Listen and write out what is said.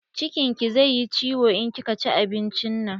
Cikin ki zai yi ciwon in kika ci abincin nan.